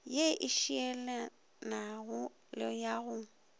ye e šielanago ya go